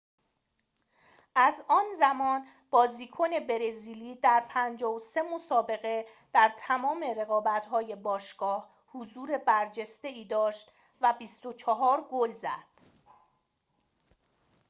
از آن زمان بازیکن برزیلی در ۵۳ مسابقه در تمام رقابت‌های باشگاه حضور برجسته‌ای داشت و ۲۴ گل زد